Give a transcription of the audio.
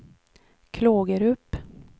Klågerup